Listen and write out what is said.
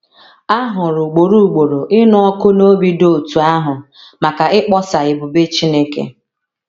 A hụrụ ugboro ugboro ịnụ ọkụ n’obi dị otú ahụ maka ịkpọsa ebube Chineke.